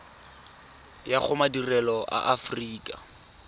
ya go madirelo a aforika